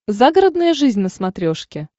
загородная жизнь на смотрешке